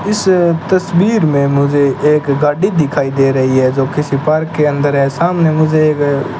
इस तस्वीर में मुझे एक गाड़ी दिखाई दे रही है जो किसी पार्क के अंदर या सामने मुझे एक --